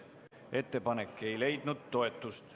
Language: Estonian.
Ettepanek ei leidnud toetust.